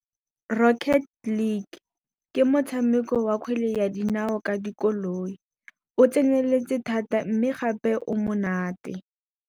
Rocket league ke motshameko wa kgwele ya dinao ka dikoloi. O tseneletse thata mme gape o monate.